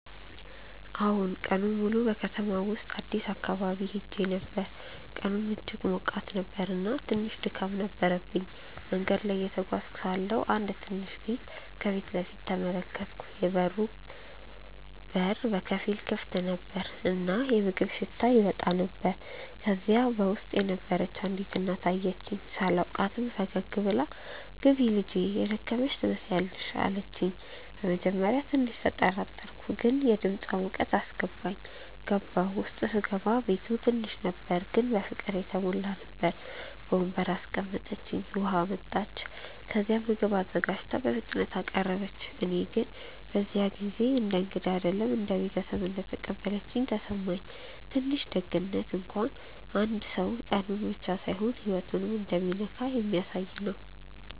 አዎን፣ በከተማው ውስጥ አዲስ አካባቢ ሄዼ ነበር፣ ቀኑም እጅግ ሞቃት ነበር እና ትንሽ ድካም ነበረብኝ። መንገድ ላይ እየተጓዝኩ ሳለሁ አንድ ትንሽ ቤት ከፊት ተመለከትኩ፤ የበሩ በር በከፊል ክፍት ነበር እና የምግብ ሽታ እየወጣ ነበር። ከዚያ በውስጥ የነበረች አንዲት እናት አየችኝ። ሳላውቃትም ፈገግ ብላ “ግቢ ልጄ፣ የደከመሽ ትመስያለሽ” አለችኝ። በመጀመሪያ ትንሽ ተጠራጠርኩ፣ ግን የድምፃ ሙቀት አስገባኝ። ገባሁ። ውስጥ ሲገባ ቤቱ ትንሽ ነበር ግን በፍቅር የተሞላ ነበር። በወንበር አስቀምጠችኝ፣ ውሃ አመጣች፣ ከዚያም ምግብ አዘጋጅታ በፍጥነት አቀረበች። እኔ ግን በዚያ ጊዜ እንደ እንግዳ አይደለም እንደ ቤተሰብ እንደተቀበለችኝ ተሰማኝ። ትንሽ ደግነት እንኳን አንድ ሰው ቀኑን ብቻ ሳይሆን ህይወቱን እንደሚነካ ስለሚያሳየ ነው